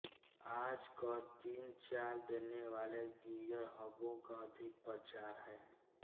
आजकल तीन चाल देनेवाले गीअर हबों का अधिक प्रचार है